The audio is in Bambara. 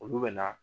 Olu bɛ na